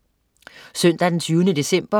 Søndag den 20. december